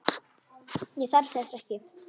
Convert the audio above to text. Ég þarf þess ekki.